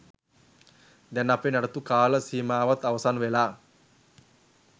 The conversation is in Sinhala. දැන් අපේ නඩත්තු කාල සීමාවත් අවසන් වෙලා.